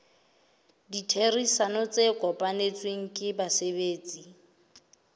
ditherisano tse kopanetsweng ke basebetsi